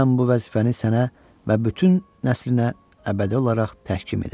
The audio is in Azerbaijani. mən bu vəzifəni sənə və bütün nəslinə əbədi olaraq təhkim edərəm.